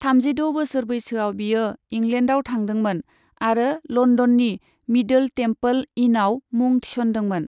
थामजिद' बोसोर बैसोआव बियो इंलेण्डआव थांदोंमोन आरो लन्दननि मिदोल टेमपोल इनआव मुं थिसन्दोंमोन।